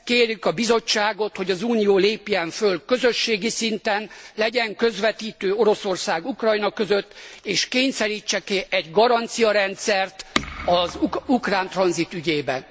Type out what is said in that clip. Kérjük a Bizottságot, hogy az Unió lépjen föl közösségi szinten, legyen közvetítő Oroszország Ukrajna között és kényszerítsen ki egy garanciarendszert az ukrán tranzit ügyében.